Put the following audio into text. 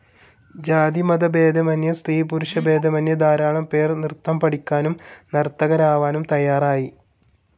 ജാതിമതഭേദമന്യേ, സ്ത്രീ പുരുഷഭേദമന്യേ ധാരാളം പേർ നൃത്തം പഠിക്കാനും നർത്തകരാവാനും തയ്യാറായി.